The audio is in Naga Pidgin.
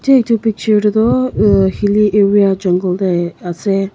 teh etu picture teh toh aa hilly area jongle teh ase.